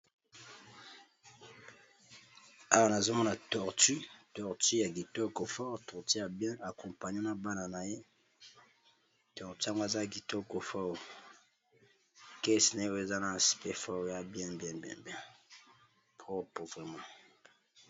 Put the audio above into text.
Awa namoni balakisi nga eza mwa nyama ya zamba babengaka yango nkoba